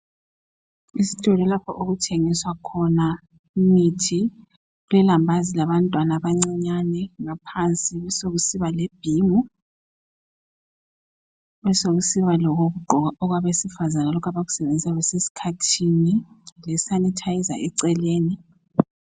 Isitolo lapho okuthengiswa khona imithi, kulelambazi labantwana abancinyane, ngaphansi kubesekusiba lebhimu, besekusiba lokokugqoka okwabesifazana lokho abakusebenzisa besesikhathini lesanithayiza eceleni.